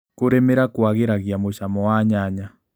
Kũrĩmĩra kwagĩragia mũcamo wa nyanya.